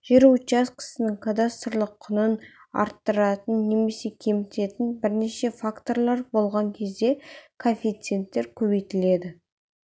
жер учаскесінің кадастрлық құнын арттыратын немесе кемітетн бірнеше факторлар болған кезде коэффициенттер көбейтіледі